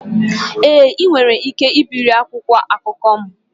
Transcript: Èé ll, ị nwere ike ibiri akwụkwọ akụkọ m